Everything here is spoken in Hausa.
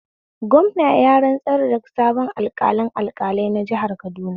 Gwamna ya rantsar da sabon alƙalin alƙalai na jihar Kaduna